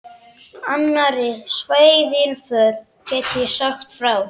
Annarri svaðilför get ég sagt frá.